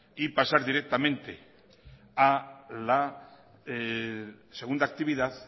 y pasar directamente a la segunda actividad